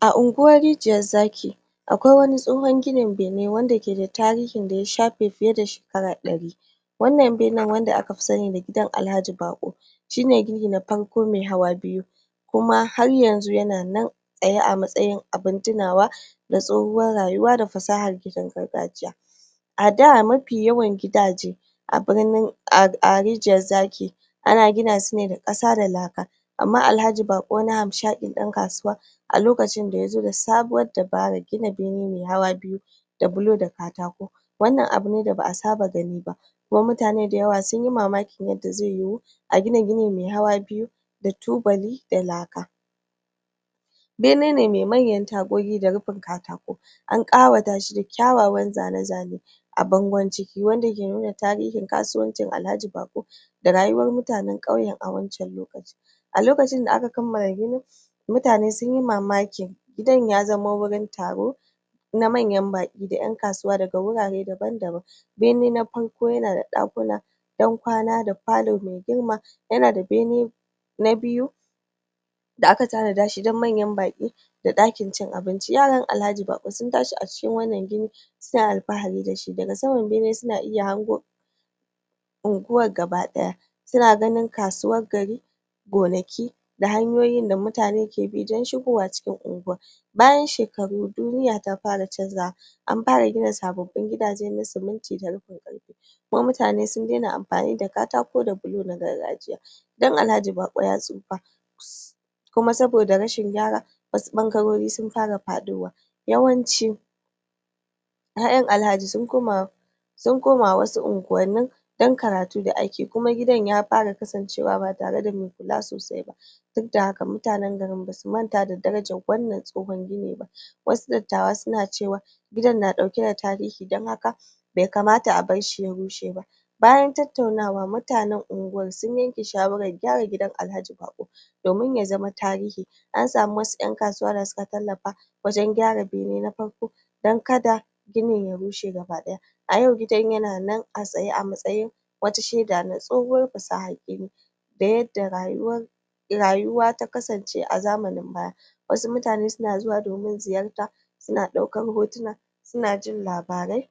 A unguwar rijiyar zaki akwai wani tsohon ginin benin wanda ke da tarihin da ya shafe fiye da shekara ɗari wannan benan wanda aka fi sani da gidan Alhaji baƙo shine gini na farko mai hawa biyu kuma har yanzu yana nan tsaye a matsayin abun tunawa da tsohuwar rayuwa da fasahar ginin gargajiya. A da mafi yawan gidaje a birnin a rijiyar zaki ana gina sune da ƙasa da laka amma alhaji baƙo wani hamshaƙin ɗan kasuwa a lokacin da yazo da sabuwar dabarar gina bene mai hawa biyu da bulo da katako. Wannan abune da ba'a saba ganiba kuma mutane dayawa sunyi mamaki yadda zai yiwu a gina gini mai hawa biyu da tubali da laka. bene ne mai manyan tagogi da rufin katako an ɗawatashi da kyawawan zane-zane a bangon ciki wanda ke nuna tarihin kasuwancin alhaji baƙo da rayuwar mutanen ƙauyen a wancen lokaci a lokacin da aka kammala ginin mutane sunyi mamaki gidan ya zama gurin taro na manyan baƙi da ƴan kasuwa da gurare daban-daban bene na farko yana da ɗakuna don kwana ds palo mai girma yanada bene na biyu da aka tanadashi don manyan baƙi da ɗakin cin abinci. Yaran alhaji baƙo sun tashi a cikin wannan gini suna alfahari dashi daga saman bene suna iya hango unguwar gaba ɗaya. Suna ganin kasuwar gari gonaki da hanyoyin da mutane ke bi don shigowa cikin unguwa. Bayan shekaru duniya ta fara canzawa an fara gina sababbin gidaje na siminti da kuma mutane sun daina amfani da katako da bulo na gargajiya. gidan alhaji baƙo ya tsufa kuma saboda rashin gyara wasu ɓangarori sun fara faɗo wa yawanci ƴaƴan alhaji sun koma sun koma wasu unguwannin dan karatu da aiki kuma gidan ya fara kasancewa ba tare da mai kula sosai ba dukda haka mutanen garin basu manta da darajar wannan tsohon gini ba wasu dattawa suna cewa gidan na ɗake da tarihi don haka bai kamata a barshi ya rushe ba. Bayan tattaunawa mutanen unguwan sun yake shawaran gyara gidan alhaji baƙo domin ya zama tarihi an samu wasu ƴan kasuwa dasuka tallafa wajen gyara bene na farko don kada ginin ya rushe gaba ɗaya. A yau gidan yana nan a tsaye a matsayin wata sheda na tsohuwar fasahar gini da yadda rayuwar rayuwa ta kasance a zamanin baya wasu mutane suna zuwa domin ziyarta suna ɗaukar hotuna suna jin labarai